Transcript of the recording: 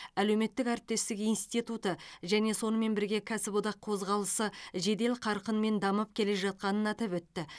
әлеуметтік әріптестік институты және сонымен бірге кәсіподақ қозғалысы жедел қарқынмен дамып келе жатқанын атап өтті